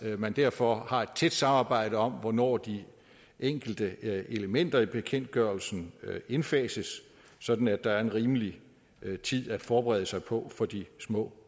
at man derfor har et tæt samarbejde om hvornår de enkelte elementer i bekendtgørelsen indfases sådan at der er en rimelig tid at forberede sig på for de små